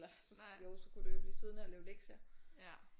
Eller så jo så kunne du jo blive siddende og lave lektier